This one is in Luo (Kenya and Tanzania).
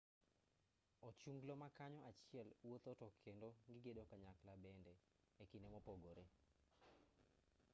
ochunglo makanyo achiel wuotho tokendo gigedo kanyakla bende ekinde mopogore